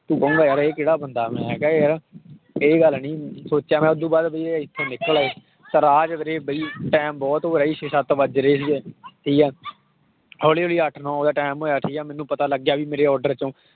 ਤੂੰ ਕਹੇਂਗਾ ਯਾਰ ਇਹ ਕਿਹੜਾ ਬੰਦਾ ਮੈਂ ਕਿਹਾ ਯਾਰ ਇਹ ਗੱਲ ਨੀ ਸੋਚਿਆ ਮੈਂ ਉਹ ਤੋਂ ਬਾਅਦ ਵੀ ਇਹ ਤਾਂ ਰਾਹ 'ਚ ਵੀਰੇ ਬਾਈ time ਬਹੁਤ ਹੋ ਰਿਹਾ ਸੀ ਛੇ ਸੱਤ ਵੱਜ ਰਹੇ ਸੀਗੇ ਠੀਕ ਹੈ ਹੌਲੀ ਹੌਲੀ ਅੱਠ ਨੋਂ ਦਾ time ਹੋਇਆ ਠੀਕ ਹੈ ਮੈਨੂੰ ਪਤਾ ਲੱਗਿਆ ਵੀ ਮੇਰੇ order ਚੋਂ